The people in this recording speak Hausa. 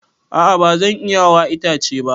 A'a ba zan iya hawa itace ba.